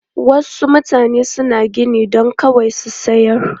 Wasu mutane suna gini don kawai su sayar.